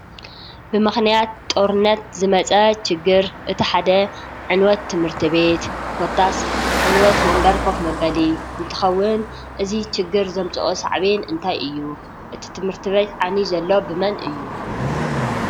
ብምክንያት ጦሩነት ዝመፀ ችግር እቲ ሓደ ዕንወት ት/ቤት ኮታስ ዕንወት ወንበር ኮፍ መበሊ እንትከውን እዚ ችግር ዘምፀኦ ሳዕቤን እንታይ እዩ? እቲ ት/ቤት ዓንዩ ዘሎ ብመን እዩ?